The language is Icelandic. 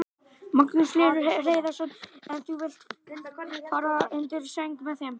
Magnús Hlynur Hreiðarsson: En þú vilt fara undir sæng með þeim?